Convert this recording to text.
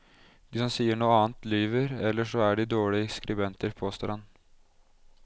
De som sier noe annet lyver, eller så er de dårlige skribenter, påstår han.